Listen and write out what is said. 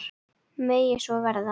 Megi svo verða.